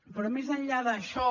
però més enllà d’això